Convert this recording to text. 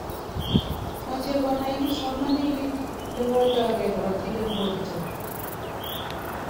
Mache konai kipsomaninik lewaldaigei korotik eng borto